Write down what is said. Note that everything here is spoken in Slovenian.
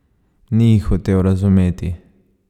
Ni jih hotel razumeti.